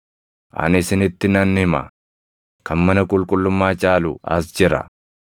Ani isinitti nan hima; kan mana qulqullummaa caalu as jira.